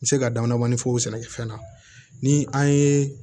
N bɛ se ka damadɔɔn fɔ o sɛnɛkɛfɛn na ni an ye